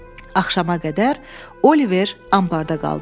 Axşama qədər Oliver ambarda qaldı.